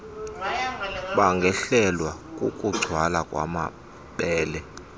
bangehlelwa kukugcwala kwamabele